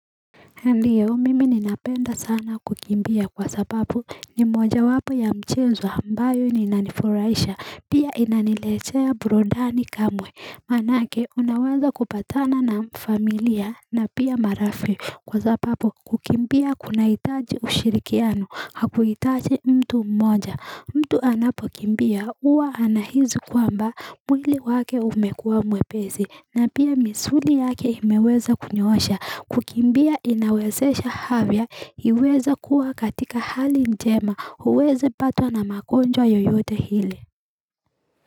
Ndiyo mimi ninapenda sana kukimbia kwa sababu ni moja wapo ya mchezo ambayo ninanifurahisha pia inaniletea burudani kamwe Maanake unaweza kupatana na familia na pia marafiki kwa sababu kukimbia kunahitaji ushirikiano hakuhitaji mtu mmoja mtu anapokimbia huwa anahisi kwamba mwili wake umekuwa mwepesi na pia misuli yake imeweza kunyosha kukimbia inawezesha afya iweza kuwa katika hali njema huwezi patwa na magonjwa yoyote ile.